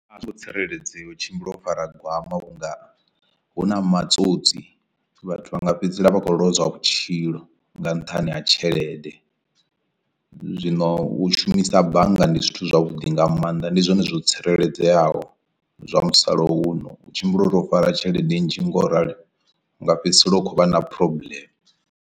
A hu ngo tsireledzea u tshimbila o fara gwama unga huna matsotsi vhathu vha nga fhedzisela vha khou lozwa vhutshilo nga nṱhani ha tshelede, zwino u shumisa bannga ndi zwithu zwavhuḓi nga maanḓa ndi zwone zwo tsireledzeaho zwa musalauno u tshimbila uri o fara tshelede nnzhi nga u ralo u nga fhedzisela hu khou vha na problem.